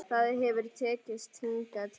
Það hefur tekist hingað til.